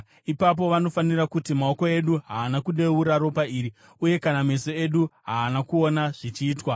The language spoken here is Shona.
Ipapo vanofanira kuti, “Maoko edu haana kudeura ropa iri, uye kana meso edu haana kuona zvichiitwa.